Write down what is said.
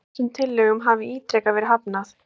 Þessum tillögum hafi ítrekað verið hafnað